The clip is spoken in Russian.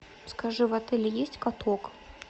скажи в отеле есть каток